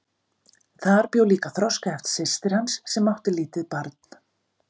Þar bjó líka þroskaheft systir hans sem átti lítið barn.